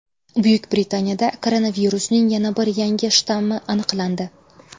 Buyuk Britaniyada koronavirusning yana bir yangi shtammi aniqlandi.